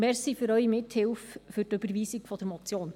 Danke für Ihre Mithilfe bei der Überweisung der Motion.